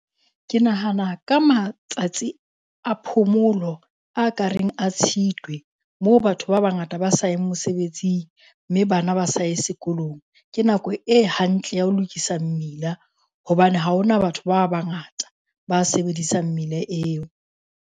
Ke nahana ka matsatsi a phomolo a ka reng a Tshitwe, moo batho ba bangata ba sa eng mosebetsing mme bana ba sae sekolong. Ke nako e hantle ya ho lokisa mmila hobane ha ho na batho ba bangata ba sebedisang mmila eo.